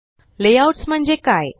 Layoutsम्हणजे काय